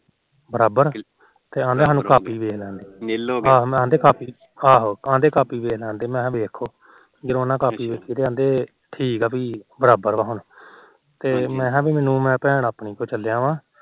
ਬਰਾਬਰ ਆਦੇ ਕਾਪੀ ਦੇਖ ਲਾਣ ਦੇ ਹੋ ਆਦੇ ਕਾਪੀ ਦੇਖ ਲੈਣ ਦੇ ਮੈ ਕਿਹਾ ਦੇਖਲੋ ਜਦੋ ਉਹਨਾ ਨੇ ਕਾਪੀ ਦੇਖੀ ਤਾ ਕਹਿੰਦੇ ਠੀਕ ਪੀ ਬਰਾਬਰ ਆ ਹੁਣ ਤੇ ਮੈ ਕਿਹਾ ਮੈਨੂੰ ਮੈ ਭੈਣ ਆਪਣੀ ਕੋਲ ਚੱਲਿਆ ਆ